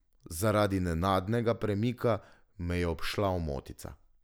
Zaradi nenadnega premika me je obšla omotica.